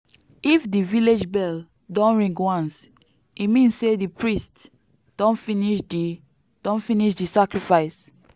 if di village bell don ring once e mean say di priest don finish di don finish di sacrifice.